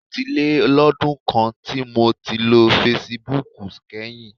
Ó ti lé lọ́dún kan tí mo ti ṣí fesibúùkù kányìn.